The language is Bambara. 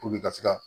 Puruke ka se ka